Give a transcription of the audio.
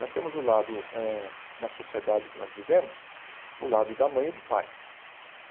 Nós temos o lado eh, na sociedade que nós vivemos, o lado da mãe e do pai.